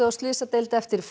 á slysadeild eftir